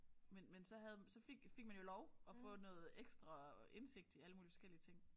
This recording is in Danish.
Men men så havde så fik fik man jo lov at få noget ekstra indsigt i alle mulige forskellige ting